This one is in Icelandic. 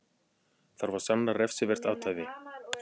Þarf að sanna refsivert athæfi